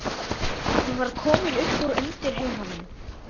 Þeim Leifi og Bíbí varð eins sonar auðið, Friðfinns.